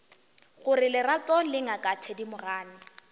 gore lerato le ngaka thedimogane